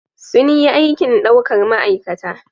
Sun yi aikin daukar ma'aikata